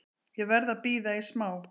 Ég verð að bíða í smá.